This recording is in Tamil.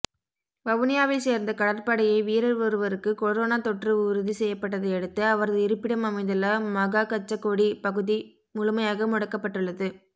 வவுனியாவை சேர்ந்த கடற்படையை வீரர் ஒருவருக்கு கொரோனா தொற்றுஉறுதி செய்யப்பட்டதையடுத்து அவரது இருப்பிடம் அமைந்துள்ள மகாகச்சகொடி பகுதி முழுமையாக முடக்கப்பட்டுள்ளது